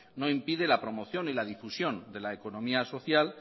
no impide la promoción ni la difusión de la economía social